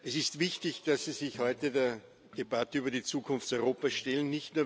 Es ist wichtig, dass Sie sich heute der Debatte über die Zukunft Europas stellen.